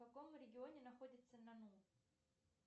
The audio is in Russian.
в каком регионе находится нану